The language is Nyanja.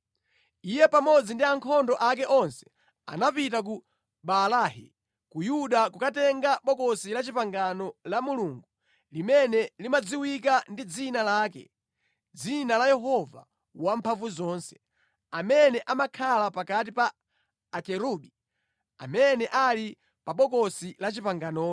Iye pamodzi ndi ankhondo ake onse anapita ku Baalahi ku Yuda kukatenga Bokosi la Chipangano la Mulungu, limene limadziwika ndi Dzina lake, dzina la Yehova Wamphamvuzonse, amene amakhala pakati pa Akerubi amene ali pa Bokosi la Chipanganolo.